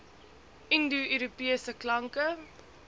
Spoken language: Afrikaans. indo europese klanke